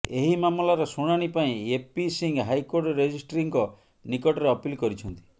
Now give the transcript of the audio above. ଏହି ମାମଲାର ଶୁଣାଣି ପାଇଁ ଏପି ସିଂହ ହାଇକୋର୍ଟ ରେଜେଷ୍ଟ୍ରୀଙ୍କ ନିକଟରେ ଅପିଲ କରିଛନ୍ତି